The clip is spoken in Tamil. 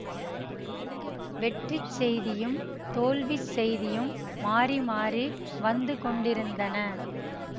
வெற்றி செய்தியும் தோல்விச் செய்தியும் மாறி மாறி வந்து கொண்டிருந்தன